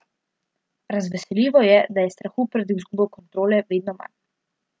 Razveseljivo je, da je strahu pred izgubo kontrole vedno manj.